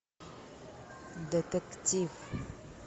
детектив